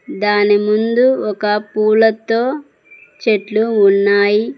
దాని ముందు ఒక పూలతో చెట్లు ఉన్నాయి.